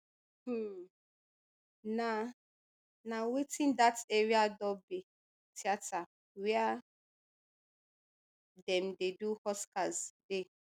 um na na within dat area dolby theater wia dem dey do oscars dey